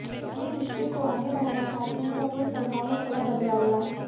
अपने रिश्ते को आगे बढ़ाना चाहते हैं तो अपने स्वभाव में थोड़ा बदलाव लाएं